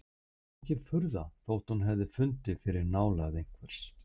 Það var engin furða þótt hún hefði fundið fyrir nálægð einhvers!